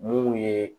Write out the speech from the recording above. Mun ye